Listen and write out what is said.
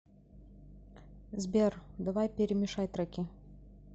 сбер давай перемешай треки